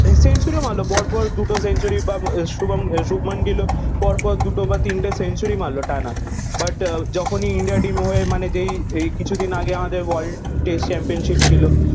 Century ও মারলো পরপর দুটো সেঞ্চুরি বা শুভম শুভমান গিল ও পর পর দুটো বা তিনটে সেঞ্চুরি মারলো টানা। বাট আহ যখনই India team হয়ে মানে যেই কিছুদিন আগে আমাদের world test championship ছিল